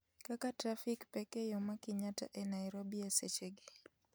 kaka trafik pek e yo ma kenyatta e Nairobi e sechegi